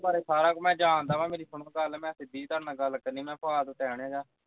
ਮੈਂ ਤੁਹਾਡੇ ਬਾਰੇ ਸਾਰਾ ਮੈਂ ਜਾਣਦਾ ਵਾਂ ਮੇਰੀ ਸੁਣੋ ਗੱਲ ਮੈਂ ਸਿੱਧੀ ਜਿਹੀ ਤੁਹਾਡੇ ਨਾਲ ਗੱਲ ਕਰਨੀ ਹੈ ਮੈਂ ਫਾਲਤੂ time ਨਹੀਂ ਹੈਗਾ